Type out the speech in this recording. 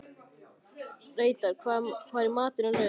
Reidar, hvað er í matinn á laugardaginn?